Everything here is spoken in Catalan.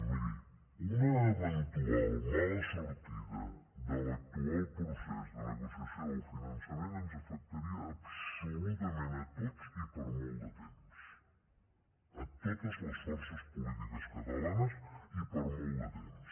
miri una eventual mala sortida de l’actual procés de negociació del finançament ens afectaria absolutament a tots i per a molt de temps totes les forces polítiques catalanes i per a molt de temps